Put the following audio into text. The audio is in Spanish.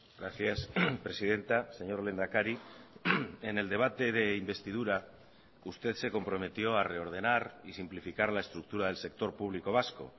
gracias presidenta señor lehendakari en el debate de investidura usted se comprometió a reordenar y simplificar la estructura del sector público vasco